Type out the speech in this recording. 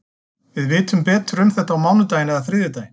Við vitum betur um þetta á mánudaginn eða þriðjudaginn.